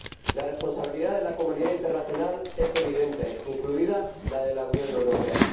La responsabilidad de la comunidad internacional es evidente, incluida la de la Unión Europea.